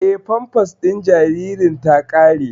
Eh, famfas din jaririn ta ƙare